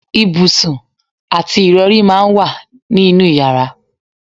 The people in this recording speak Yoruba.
Ibùsùn àti ìrọ̀rí máa ń wà ní inú yàrá